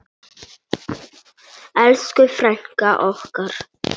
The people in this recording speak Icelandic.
Elsku frænka okkar.